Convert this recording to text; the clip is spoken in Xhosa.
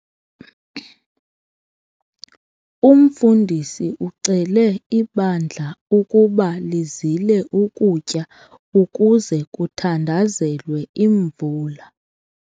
Umfundisi ucele ibandla ukuba lizile ukutya ukuze kuthandazelwe imvula.